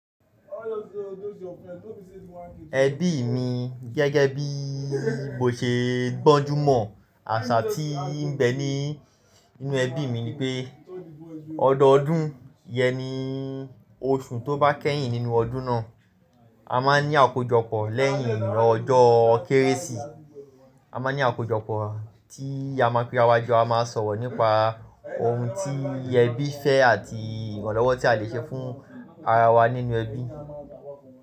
Ẹbí mi gẹ́gẹ́ bí mo ṣe gbọ́njú mọ̀, àṣà tí ń bẹ ní inú ẹbí mi ni pé, ọdọọdún yẹn ni oṣù tó bá kẹ́yìn nínú ọdún náà, a máa ń ní àkójọpọ̀ lẹ́yìn ọjọ́ Kérésì. A máa ní àkójọpọ̀ tí a ma pera jo, a ma sọ̀rọ̀ nípa ohun tí ẹbí fẹ́ àti ìrànlọ́wọ́ tí a le ṣe fún ara wa nínú ẹbí.